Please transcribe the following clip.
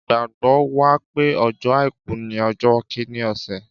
Ìgbàgbọ́ wà pé ọjọ́ àìkú ni ọjọ́ kìíní ọ̀sẹ̀.